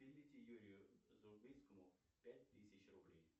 переведи юрию пять тысяч рублей